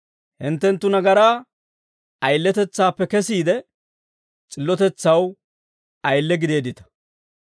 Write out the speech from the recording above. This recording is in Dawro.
Hinttenttu nagaraa ayiletetsaappe kesiide, s'illotetsaw ayile gideeddita.